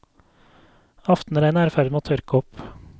Aftenregnet er i ferd med å tørke opp.